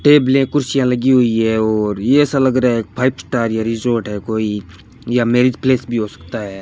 टेबलें कुर्सियां लगी हुई है और ये ऐसा लगरहा है फाइव स्टार यह रिजॉर्ट है कोई या मैरिज प्लेस भी हो सकता है।